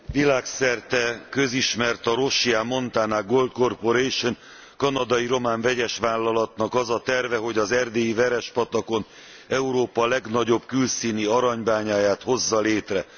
Világszerte közismert a Rosia Montana Gold Corporation, kanadai román vegyesvállalat azon terve, hogy az erdélyi Verespatakon Európa legnagyobb külszíni aranybányáját hozza létre.